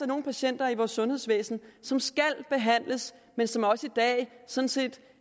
nogle patienter i vores sundhedsvæsen som skal behandles men som også i dag sådan set